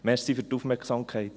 Danke für die Aufmerksamkeit.